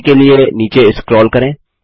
π के लिए नीचे स्क्रोल करें